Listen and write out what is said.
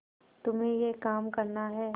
तुम्हें यह काम करना है